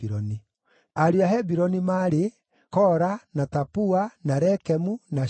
Ariũ a Hebironi maarĩ: Kora, na Tapua, na Rekemu, na Shema.